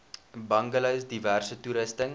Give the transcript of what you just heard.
bungalows diverse toerusting